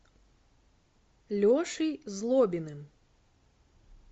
лешей злобиным